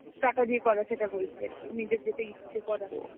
টাকা দিয়ে করা সেটা বলছি আর কি. নিজের যেটা ইচ্ছে করা.